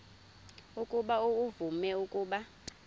ukuba uvume ukuba